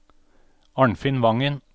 Arnfinn Vangen